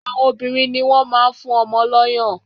Àwọn obìnrin ni wọ́n máa ń fún ọmọ lọ́yàn